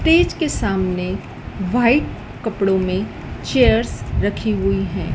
Fridge के सामने white कपड़ों में चेयर्स रखी हुई हैं।